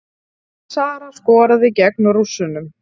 Sara skoraði gegn Rússunum